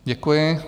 Děkuji.